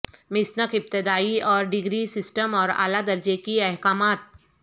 Masonic ابتدائی اور degree system اور اعلی درجے کی احکامات